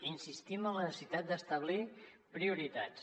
insistim en la necessitat d’establir prioritats